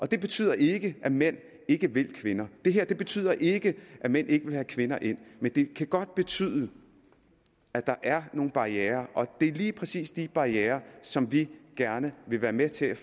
det betyder ikke at mænd ikke vil kvinder det her betyder ikke at mænd ikke vil have kvinder ind men det kan godt betyde at der er nogle barrierer og det er lige præcis de barrierer som vi gerne vil være med til